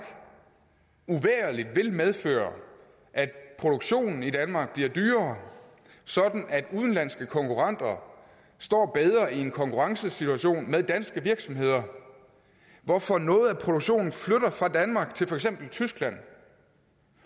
uvægerlig vil medføre at produktionen i danmark bliver dyrere sådan at udenlandske konkurrenter står bedre i en konkurrencesituation med danske virksomheder hvorfor noget af produktionen flytter fra danmark til for eksempel tyskland